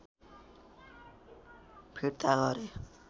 फिर्ता गरे